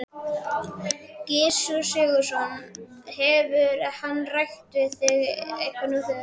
Gissur Sigurðsson: Hefur hann rætt við þig eitthvað nú þegar?